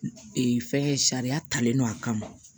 Ee fɛn sariya talen don a kama